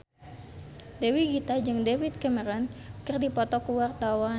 Dewi Gita jeung David Cameron keur dipoto ku wartawan